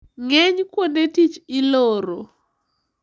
Ng`eny kuonde tich iloro.